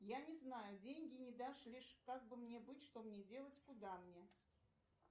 я не знаю деньги не дошли как бы мне быть что мне делать куда мне